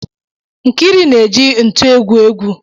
Nkiru na-eji ntu egwu egwu